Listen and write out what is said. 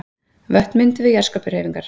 Vötn mynduð við jarðskorpuhreyfingar.